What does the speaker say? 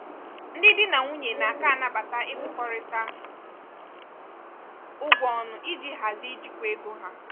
ndị di na nwunye na-aka anabata ịkwụkọrịta ụgwọ ọnụ iji hazie ijikwa ego ha.